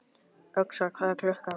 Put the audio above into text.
Öxar, hvað er klukkan?